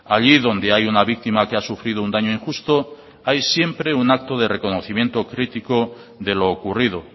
allí donde hay una víctima que ha sufrido un daño injusto hay siempre un acto de reconocimiento crítico de lo ocurrido